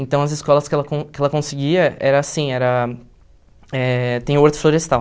Então, as escolas que ela con que ela conseguia era assim, era eh... tem o horto florestal.